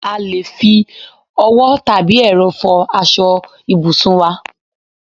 A lè fi owó tàbí ẹ̀rọ fò aṣọ ibùsùn wá